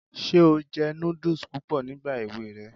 Ṣé o jẹ núdùs púpọ̀ nígbà èwe rẹ?